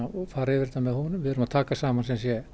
og fara yfir þetta með honum við erum að taka saman